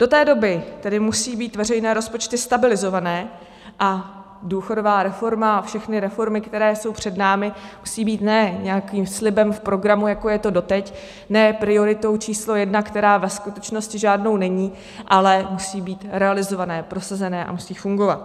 Do té doby tedy musí být veřejné rozpočty stabilizované a důchodová reforma a všechny reformy, které jsou před námi, musí být ne nějakým slibem v programu, jako je to doteď, ne prioritou číslo jedna, která ve skutečnosti žádnou není, ale musí být realizované, prosazené a musí fungovat.